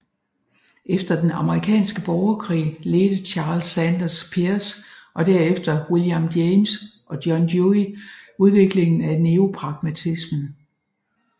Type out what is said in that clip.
Efter den amerikanske borgerkrig ledte Charles Sanders Peirce og derefter William James og John Dewey udviklingen af neopragmatismen